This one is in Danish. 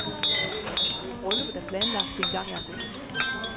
Brylluppet er planlagt til engang i august.